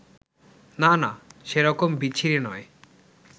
না না, সে রকম বিচ্ছিরি নয়